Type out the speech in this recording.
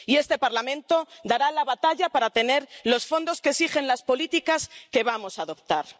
Y este Parlamento dará la batalla para tener los fondos que exigen las políticas que vamos a adoptar.